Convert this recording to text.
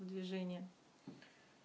движение